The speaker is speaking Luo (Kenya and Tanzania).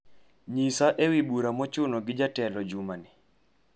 nyisa ewi bura mochuno gi jatelo jumani